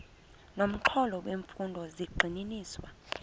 nomxholo wemfundo zigxininiswa